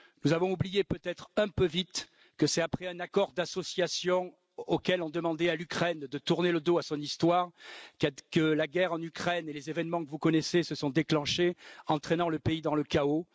Nous avons peut être oublié un peu vite que c'est après un accord d'association, en vue duquel nous demandions à l'Ukraine de tourner le dos à son histoire, que la guerre et les événements que vous connaissez se sont déclenchés, entraînant le pays dans le chaos.